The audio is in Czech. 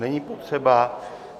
Není potřeba.